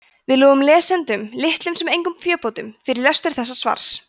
við lofum lesendum litlum sem engum fébótum fyrir lestur þessa svars